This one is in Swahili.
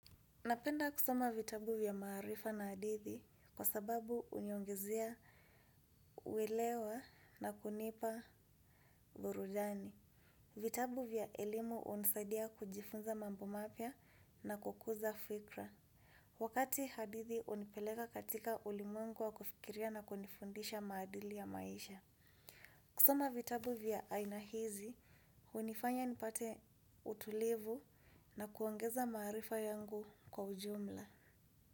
Napenda kusoma vitabu vya maarifa na hadithi kwa sababu huniongezea uelewa na kunipa burudani. Vitabu vya elimu hunisadia kujifunza mambo mapya na kukuza fikira. Wakati hadithi hunipeleka katika ulimwengu wa kufikiria na kunifundisha maadili ya maisha. Kusoma vitabu vya aina hizi hunifanya nipate utulivu na kuongeza maarifa yangu kwa ujumla.